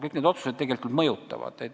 Kõik need otsused ju tegelikult mõjutavad.